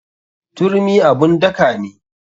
Turmi abun daka ne.